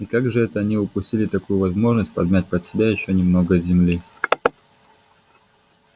и как же это они упустили такую возможность подмять под себя ещё немного земли